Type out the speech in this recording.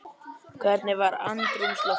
Hvernig var andrúmsloftið?